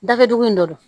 Dakɛdugu in de don